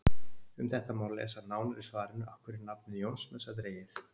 Um þetta má lesa nánar í svarinu Af hverju er nafnið Jónsmessa dregið?